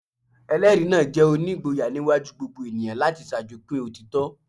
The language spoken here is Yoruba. Ẹ̀rí náà jẹ́ onígboyà níwájú gbogbo ènìyàn láti ṣàjọpín òtítọ́. "